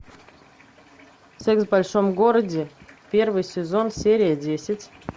секс в большом городе первый сезон серия десять